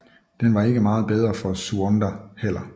Den var ikke meget bedre for Tsuonda heller